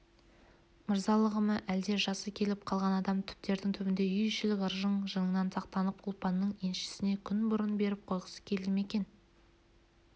мырзалығы ма әлде жасы келіп қалған адам түптердің түбінде үй ішілік ырың-жырыңнан сақтанып ұлпанның еншісін күн бұрын беріп қойғысы келді ме екен